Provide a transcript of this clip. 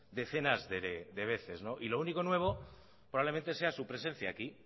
decenas de veces y lo único nuevo probablemente sea su presencia aquí